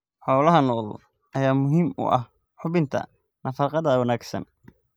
Xoolaha nool ayaa muhiim u ah hubinta nafaqada wanaagsan.